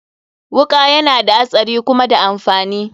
Wuka yana da hatsari kuma da amfani.